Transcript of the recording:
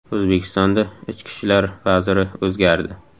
O‘zbekistonda ichki ishlar vaziri o‘zgardi .